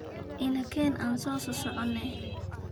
Nakeen aan sosoconex.